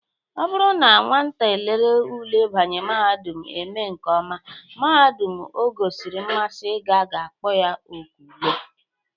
Ọ bụrụ na nwata lere ule ịbanye mahadum eme nke ọma, mahadum o gosiri mmasị ịga ga-akpọ ya oku ule.